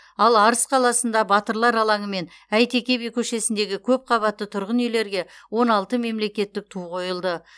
ал арыс қаласында батырлар алаңы мен әйтеке би көшесіндегі көпқабатты тұрғын үйлерге он алты мемлекеттік ту қойылды